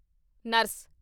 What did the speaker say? nurse